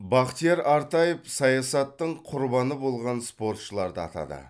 бахтияр артаев саясаттың құрбаны болған спортшыларды атады